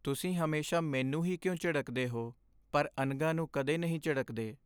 ਤੁਸੀਂ ਹਮੇਸ਼ਾ ਮੈਨੂੰ ਹੀ ਕਿਉਂ ਝਿੜਕਦੇ ਹੋ ਪਰ ਅਨਘਾ ਨੂੰ ਕਦੇ ਨਹੀਂ ਝਿੜਕਦੇ?